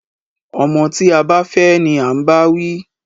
Ọmọ tí a bá fẹ́ ni à ń báwí.